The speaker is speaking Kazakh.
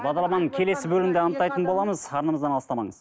бағдарламаның келесі бөлігінде анықтайтын боламыз арнамыздан алыстамаңыз